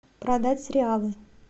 продать реалы